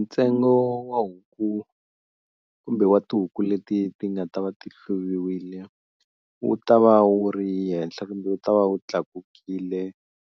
Ntsengo wa huku kumbe wa tihuku leti ti nga ta va ti hluviwile wu ta va wu ri henhla kumbe wu ta va wu tlakukile